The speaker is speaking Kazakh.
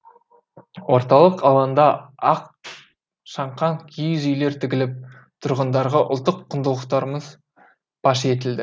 орталық алаңда ақ шаңқан киіз үйлер тігіліп тұрғындарға ұлттық құндылықтарымыз паш етілді